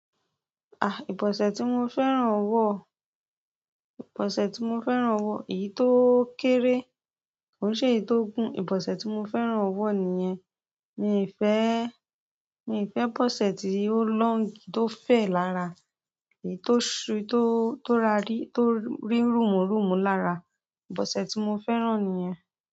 Ibọsẹ ti mo fẹ́ràn wo. Ibọsẹ ti mo fẹ́ràn wo èyí to kere ki se eleyii to gun. Ìbọ̀sẹ̀ tí mo fẹ́ràn wọ nìyẹn. Mí ìfé, mí ìfé bọ́sẹ̀ tí ó long tó fè lára, èyí tó ṣú tó, tó ra ri, tó rí rúmùrùn mú lára. Ìbọ̀sẹ̀ tí mo fẹ́ràn nìyẹn.